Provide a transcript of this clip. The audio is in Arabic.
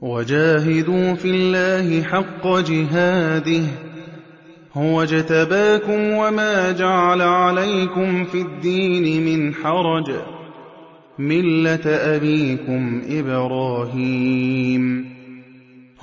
وَجَاهِدُوا فِي اللَّهِ حَقَّ جِهَادِهِ ۚ هُوَ اجْتَبَاكُمْ وَمَا جَعَلَ عَلَيْكُمْ فِي الدِّينِ مِنْ حَرَجٍ ۚ مِّلَّةَ أَبِيكُمْ إِبْرَاهِيمَ ۚ